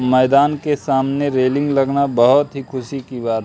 मैदान के सामने रैलिंग लगना बहुत ही खुशी की बात--